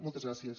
moltes gràcies